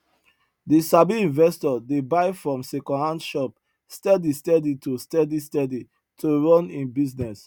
the sabi investor dey buy from secondhand shop steady steady to steady steady to run him business